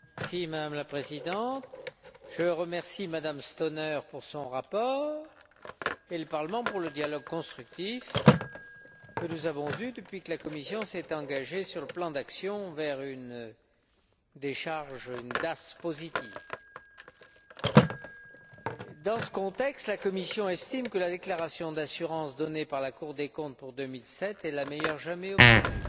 Madame la Présidente, je remercie M Stauner pour son rapport et le Parlement pour le dialogue constructif que nous avons eu depuis que la Commission s'est engagée sur le plan d'action vers une décharge, une DAS positive. Dans ce contexte, la Commission estime que la déclaration d'assurance donnée par la Cour des comptes pour 2007 est la meilleure jamais obtenue.